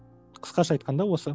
қысқаша айтқанда осы